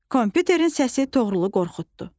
Kompüterin səsi Toğrulu qorxutdu.